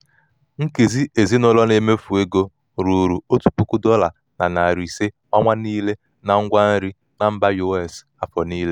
nkezi ezinụlọ na-emefụ ego ruru otu puku dọla na narị ise ọnwa niile na ngwa nri na mba us afọ niile.